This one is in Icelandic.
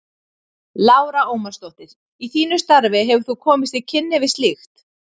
Lára Ómarsdóttir: Í þínu starfi hefur þú komist í kynni við slíkt?